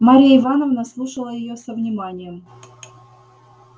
марья ивановна слушала её со вниманием